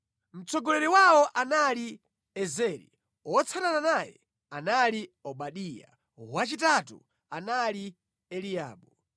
Mtsogoleri wawo anali Ezeri, wotsatana naye anali Obadiya, wachitatu anali Eliabu,